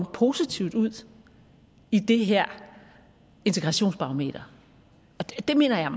positivt ud i det her integrationsbarometer og det mener jeg